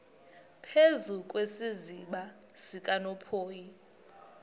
phezu kwesiziba sikanophoyi